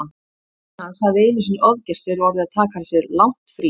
Pabbi hans hafði einu sinni ofgert sér og orðið að taka sér langt frí.